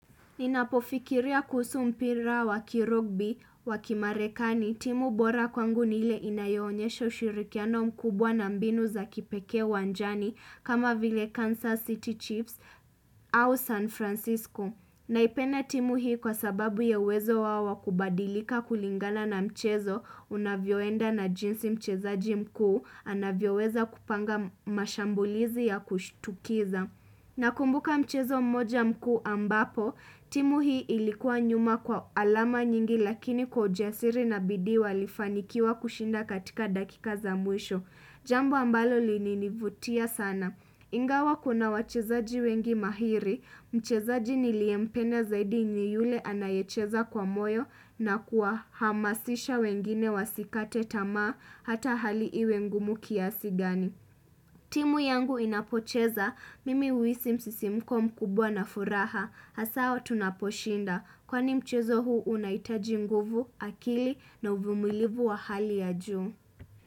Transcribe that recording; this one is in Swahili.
Inapofikiria kuhusu mpira wakirugby, wakimarekani, timu bora kwangu nile inayohonyesho ushirikiano mkubwa na mbinu za kipeke wanjani kama vile Kansas City Chiefs au San Francisco. Naipenda timu hii kwa sababu ya uwezo wawo wa kubadilika kulingana mchezo unavyoenda na jinsi mchezaji mkuu anavyoweza kupanga mashambulizi ya kushtukiza. Nakumbuka mchezo mmoja mku ambapo, timu hii ilikuwa nyuma kwa alama nyingi lakini kwa ujasiri na bidi walifanikiwa kushinda katika dakika za mwisho. Jambo ambalo lininivutia sana. Ingawa kuna wachezaji wengi mahiri, mchezaji niliempenda zaidi ni yule anayecheza kwa moyo na kuahamasisha wengine wasikate tamaa hata hali iwe ngumu kiasi gani. Timu yangu inapocheza, mimi uisi msisimko mkubwa na furaha, hasa tunaposhinda, kwani mchezo huu unaitaji mguvu, akili na uvumilivu wa hali ya juu.